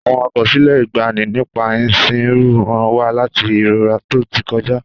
Àwọn àkọsílẹ̀ ìgbàanì nípa ìsìnrú rán wa létí ìrora tó ti kọjá.